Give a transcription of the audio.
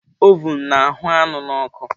Ovun na-ahụ́ anụ n'ọkụ